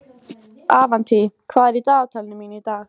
Avantí, hvað er í dagatalinu mínu í dag?